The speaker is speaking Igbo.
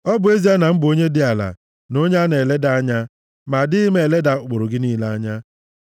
Ọ bụ ezie na m bụ onye dị ala, na onye a na-eleda anya, ma adịghị m eleda ụkpụrụ gị niile anya.